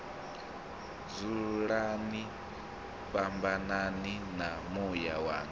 dzulani fhambanani na muya wanga